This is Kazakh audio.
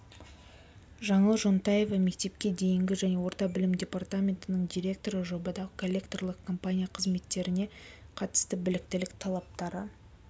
жаңыл жонтаева мектепке дейінгі және орта білім департаментінің директоры жобада коллекторлық компания қызметкерлеріне қатысты біліктілік талаптары